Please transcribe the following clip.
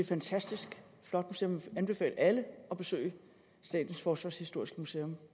fantastisk flot museum jeg vil anbefale alle at besøge statens forsvarshistoriske museum